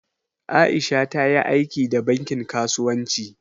Aisha ta yi aiki da bankin kasuwanci.